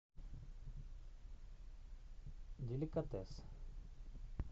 деликатес